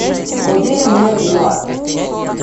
купи мне пива